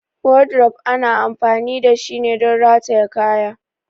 Wardrobe ana amfani dashi don rataye kaya.